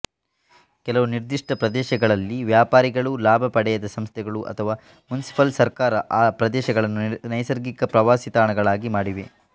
ಕೆಲವು ನಿರ್ದಿಷ್ಟ ಪ್ರದೇಶಗಳಲ್ಲಿ ವ್ಯಾಪಾರಿಗಳು ಲಾಭ ಪಡೆಯದ ಸಂಸ್ಥೆಗಳು ಅಥವಾ ಮುನಿಸಿಪಲ್ ಸರ್ಕಾರಗಳು ಆ ಪ್ರದೇಶಗಳನ್ನು ನೈಸರ್ಗಿಕ ಪ್ರವಾಸಿತಾಣಗಳಾಗಿ ಮಾಡಿವೆ